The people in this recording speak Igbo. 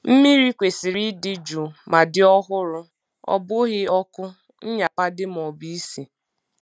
Mmiri kwesịrị ịdị jụụ ma dị ọhụrụ-ọ bụghị ọkụ, nnyapade, maọbụ isi.